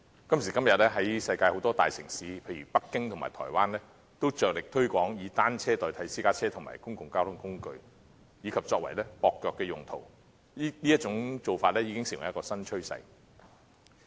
今時今日，在世界很多大城市，例如北京和台灣，均着力推廣以單車代替私家車和公共交通工具，以及作接駁用途，這已經成為新趨勢。